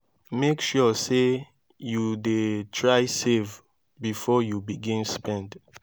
mek sure sey yu dey try save bifor yu begin spend